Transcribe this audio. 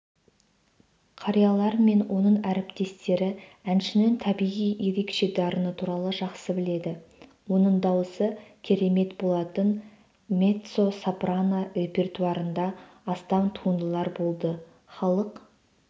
қариялар мен оның әріптестері әншінің табиғи ерекше дарыны туралы жақсы біледі оның дауысы керемет болатын меццо-сопрано репертуарында астам туындылар болды халық